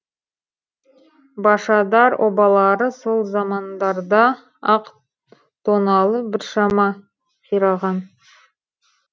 башадар обалары сол замандарда ақ тоналып біршама қираған